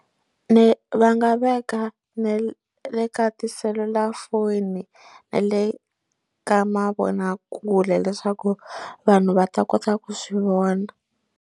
Ni va nga veka na le le ka tiselulafoni na le ka mavonakule leswaku vanhu va ta kota ku swi vona.